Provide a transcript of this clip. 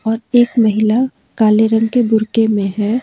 और एक महिला काले रंग के बुर्के में है।